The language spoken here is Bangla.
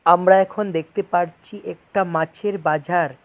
আমরা এখন দেখতে পারছি একটা মাছের বাজার।